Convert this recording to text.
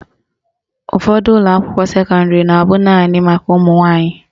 Ụfọdụ ụlọakwụkwọ sekọndịrị na abụ naanị maka ụmụnwanyị